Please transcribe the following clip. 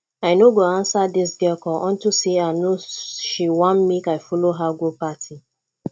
i no go answer dis girl call unto say i no she wan make i follow her go party